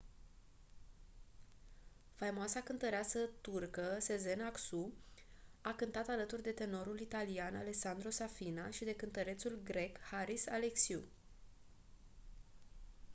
faimoasa cântăreață turcă sezen aksu a cântat alături de tenorul italian alessandro safina și de cântărețul grec haris alexiou